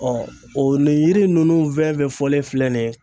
ɔ nin yiri ninnu fɛn fɛn fɔlen filɛ nin ye